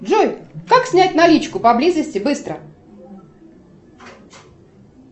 джой как снять наличку поблизости быстро